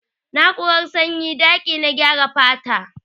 Na'urar sanyin daƙi na gyara fata.